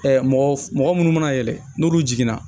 mɔgɔ munnu mana yɛlɛ n'olu jiginna